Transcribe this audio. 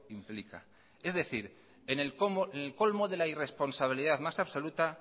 implica es decir en el colmo de la irresponsabilidad más absoluta